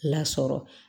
Lasɔrɔ